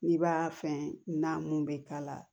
N'i b'a fɛn na mun bɛ k'a la